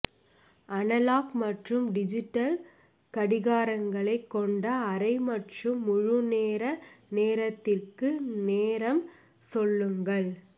analogue மற்றும் digital கடிகாரங்களைக் கொண்ட அரை மற்றும் முழுநேர நேரத்திற்கு நேரம் சொல்லுங்கள்